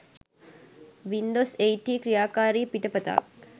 Windows 8 හි ක්‍රියාකාරී පිටපතක්